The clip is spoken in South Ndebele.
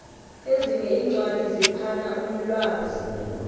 ezinye iincwadi ziphana umlwazi